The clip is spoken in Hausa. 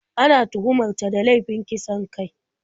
Ana tuhumar ta da laifin kisan kai.